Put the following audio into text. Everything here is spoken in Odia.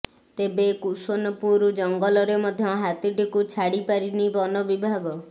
ତେବେ କୁସୁନପୁର ଜଙ୍ଗଲରେ ମଧ୍ୟ ହାତୀଟିକୁ ଛାଡ଼ ପାରିନି ବନ ବିଭାଗ